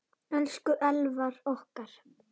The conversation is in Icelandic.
Elsku Elvar okkar.